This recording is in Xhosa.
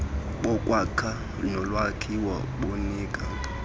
bokwakha nolwakhiwo bunika